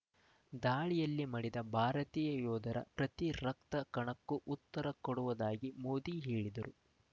ದಾಳಿಯಲ್ಲಿ ಮಡಿದ ಭಾರತೀಯ ಯೋಧರ ಪ್ರತಿ ರಕ್ತ ಕಣಕ್ಕೂ ಉತ್ತರ ಕೊಡುವುದಾಗಿ ಮೋದಿ ಹೇಳಿದರು